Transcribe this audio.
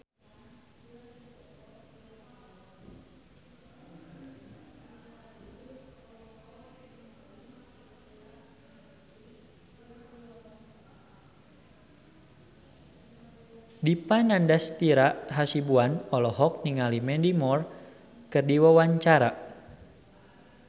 Dipa Nandastyra Hasibuan olohok ningali Mandy Moore keur diwawancara